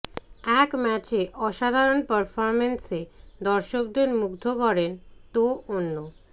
এক ম্যাচে অসাধারণ পারফরম্যান্সে দর্শকদের মুগ্ধ করেন তো অন্য